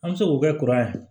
An bɛ se k'o kɛ kuran ye